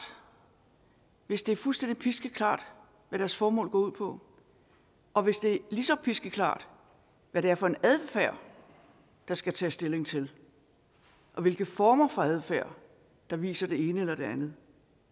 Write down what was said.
hvis det er fuldstændig piskeklart hvad deres formål går ud på og hvis det er lige så piskeklart hvad det er for en adfærd der skal tages stilling til og hvilke former for adfærd der viser det ene eller det andet